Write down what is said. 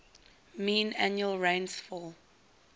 mean annual rainfall